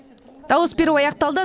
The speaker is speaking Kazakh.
дауыс беру аяқталды